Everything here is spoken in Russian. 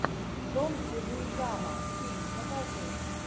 джон легуизамо фильм покажи